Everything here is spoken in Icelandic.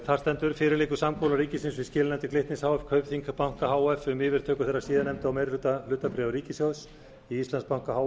þar stendur fyrir liggur samkomulag ríkisins við skilanefndir glitnis h f kaupþings banka h f um yfirtöku þeirra síðarnefndu og meiri hluta hlutabréfa ríkissjóðs í íslandsbanka h